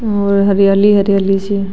और हरियाली हरियाली सी --